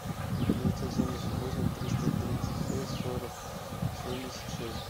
девятьсот семьдесят восемь триста тридцать шесть сорок семьдесят шесть